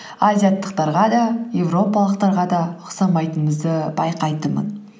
азиаттықтарға да еуропалықтарға да ұқсамайтынымызды байқайтынмын